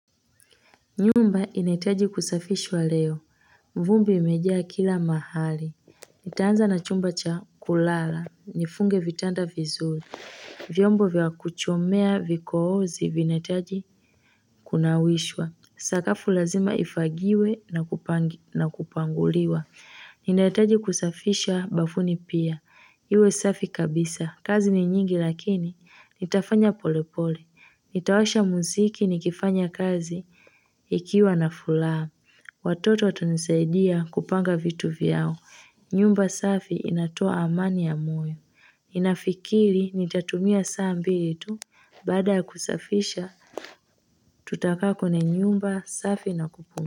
Nyumba inahitaji kusafishwa leo, vumbi imejaa kila mahali, nitaanza na chumba cha kulala, nifunge vitanda vizuri, vyombo vya kuchumea vikoozi vinahitaji kunawishwa, sakafu lazima ifagiwe na kupanguliwa Ninahataji kusafisha bafuni pia, iwe safi kabisa, kazi ni nyingi lakini nitafanya polepole, nitawasha mziki nikifanya kazi ikiwa na furaha. Watoto watanisaidia kupanga vitu vyao, nyumba safi inatoa amani ya moyo. Ninafikiri nitatumia saa mbili tu, baada kusafisha tutakaa kwenye nyumba safi na kupunga.